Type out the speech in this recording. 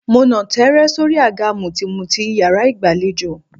Mo nà tẹ́ẹ́rẹ́ sóri àga mùtìmùtì yàrá ìgbàlejò.